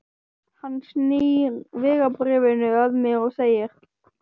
Hann snýr vegabréfinu að mér og segir